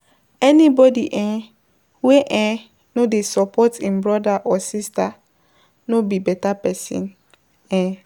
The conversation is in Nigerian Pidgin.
Any bodi wey no dey support im broda or sista no be beta pesin.